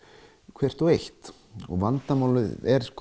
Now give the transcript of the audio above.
hvert og eitt vandamálið er